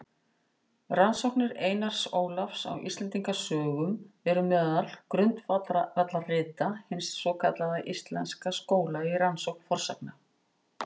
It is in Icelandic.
Rannsóknir Einars Ólafs á Íslendingasögum eru meðal grundvallarrita hins svokallaða íslenska skóla í rannsókn fornsagna.